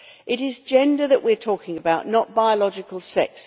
It is gender that we are talking about, not biological sex.